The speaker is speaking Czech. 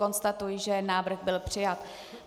Konstatuji, že návrh byl přijat.